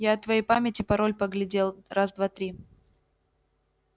я от твоей памяти пароль поглядел раз-два-три